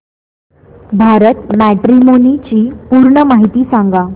Bharat Matrimony ची पूर्ण माहिती सांगा